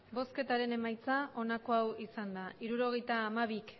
emandako botoak hirurogeita hamabi